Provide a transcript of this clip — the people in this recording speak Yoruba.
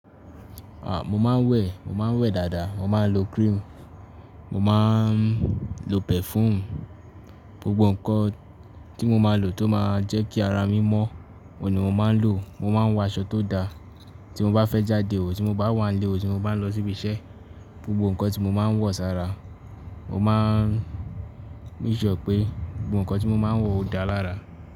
À, mo máa ń wẹ̀, mo máa ń wẹ̀ dáadáa, mo máa ń lo cream, mo máa ń lo perfume, gbogbo nǹkan tí mo máa ń lò tó máa ń jẹ́ kí ara mí mọ́, òun ní mo máa ń lò, mo máa ń wọ aṣọ tó da. Tí mo bá fẹ́ jáde ò tí mo bá wà nílé ò tí mo bá ń lọ síbi iṣẹ́, gbogbo nǹkan tí mo máa ń wọ̀ sára, mo máa ń ní ìṣọ pé gbogbo nǹkan tí mo máa ń wọ̀ ó dáa lára.